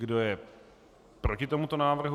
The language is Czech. Kdo je proti tomuto návrhu?